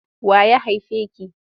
Wa ya haife ki?